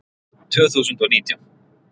Tvö þúsund og nítján